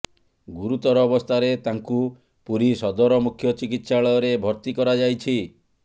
ଗୁରୁତର ଅବସ୍ଥାରେ ତାଙ୍କୁ ପୁରୀ ସଦର ମୁଖ୍ୟ ଚିକିତ୍ସାଳୟରେ ଭର୍ତ୍ତି କରାଯାଇଛି